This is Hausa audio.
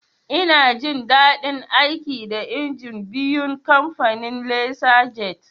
Ina jin daɗin aiki da injin biyun kamfanin "Lasar jet"